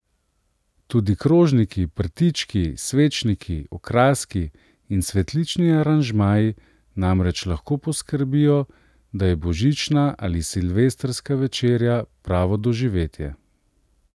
Tudi krožniki, prtički, svečniki, okraski in cvetlični aranžmaji namreč lahko poskrbijo, da je božična ali silvestrska večerja pravo doživetje.